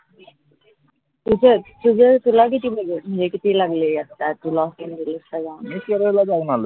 तुझं तुझं तुला किती म्हनजे किती लागले आता लॉस एंजिल्सला जाऊन